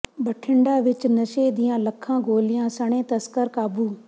ਬਠਿੰਡਾ ਵਿੱਚ ਨਸ਼ੇ ਦੀਆਂ ਲੱਖਾਂ ਗੋਲੀਆਂ ਸਣੇ ਤਸਕਰ ਕਾਬੂ